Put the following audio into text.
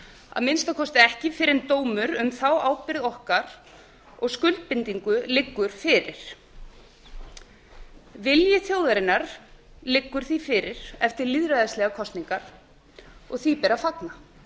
að minnsta kosti ekki fyrr en dómur um þá ábyrgð okkar og skuldbindingu liggur fyrir vilji þjóðarinnar liggur því fyrir eftir lýðræðislegar kosningar og því ber að fagna